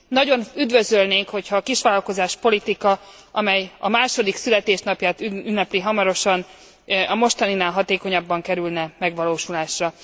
Nagyon üdvözölnénk, hogyha a kisvállalkozás politika, amely a második születésnapját ünnepli hamarosan, a mostaninál hatékonyabban kerülne megvalósulásra.